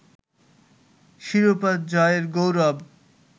শিরোপা জয়ের গৌরব